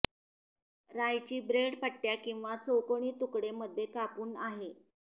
राय ची ब्रेड पट्ट्या किंवा चौकोनी तुकडे मध्ये कापून आहे